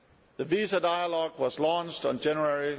The visa dialogue was launched in January